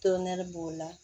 b'o la